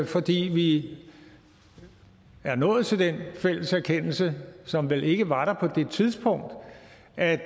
fordi vi er nået til den fælles erkendelse som vel ikke var der på det tidspunkt at